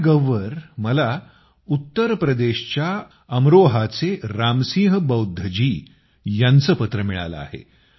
माय gov वर मला उत्तरप्रदेशच्या अमरोहाचे रामसिंह बौद्धजी यांचं पत्र मिळालं आहे